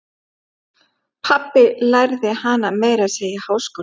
Pabbi lærði hana meira að segja í háskóla.